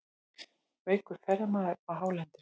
Veikur ferðamaður á hálendinu